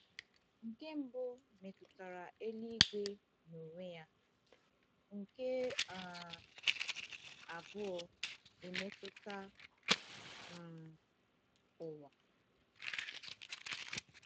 Nke mbụ metụtara eluigwe n’onwe ya, nke um abụọ emetụta um ụwa.